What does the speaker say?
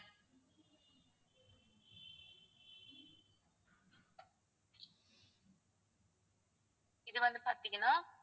இது வந்து பாத்தீங்கன்னா